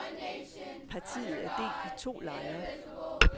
Partiet er delt i to lejre.